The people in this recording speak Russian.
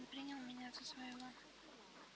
он принял меня за своего